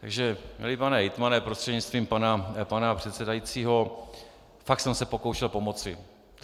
Takže milý pane hejtmane prostřednictvím pana předsedajícího, fakt jsem se pokoušel pomoci.